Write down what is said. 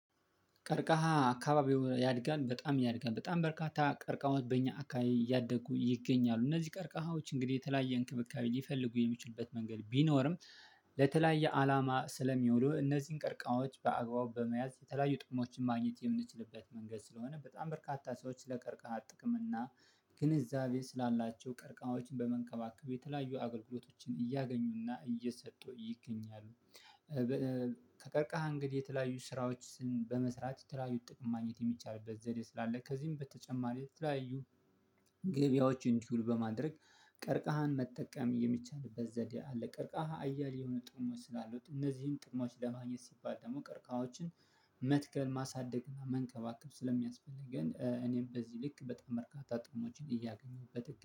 ቀርቃሃ አካባቢው ያድጋል በጣም ያድጋል በጣም በርካታ ቀርቃሃዎ ወድበኛ አካባቢ እያደጉ ይገኛሉ እነዚህ ቀርቃሃዎች እንግዲህ የተለያየ እንክብካቤ ሊፈልጉ የሚችሉበት መንገድ ቢኖርም ለተለያየ አላማ ስለሚውሉ እነዚህን ቀርቃማዎች በአግባቡ በመያዝ የተለያዩ ጥቅሞችን ማግኘት የምንችልበት መንገድ ስለሆነ በጣም በርካታ ሰዎች ስለ ቀርቃሃት ጥቅም እና ግንዛቤ ስላላቸው ቀርቃማዎችን በመንቀማቀሉ የተለያዩ አገልግሎቶችን እያገኙና እየሰጡ ይገኛሉ። ከቀርቃሃ እንግዲህ የተለያዩ ስራዎችን በመስራት የተለያዩ ጥቅም ማግኘት የሚቻልበት ዘዴ ስላለ ከዚህም በተጨማሪ የተለያዩ ገበያዎችን ትውል በማድረግ ቀርቃሃን መጠቀም የሚቻልበት ዘዴ አለ። ቀርቃሃ አያሌ የሆነ ጥሩ ጥሞች ስላሉት እነዚህን ጥሞች ለማግኘት ሲባል ደግሞ ቀርቃዎችን መትከል ማሳደግና መንቀባቀብ ስለሚያስፈልገን እኔም በዚህ ልክ በጣም መርካታ ጥሩሞችን እያገኘሁበት